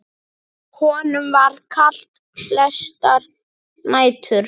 Honum var kalt flestar nætur.